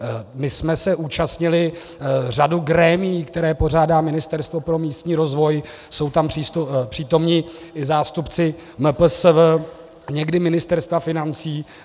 My jsme se účastnili řady grémií, které pořádá Ministerstvo pro místní rozvoj, jsou tam přítomni i zástupci MPSV, někdy Ministerstva financí.